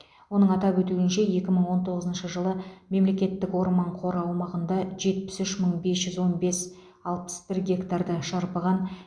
оның атап өтуінше екі мың он тоғызыншы жылы мемлекеттік орман қоры аумағында жетпіс үш мың бес жүз он бес алпыс бір гектарды шарпыған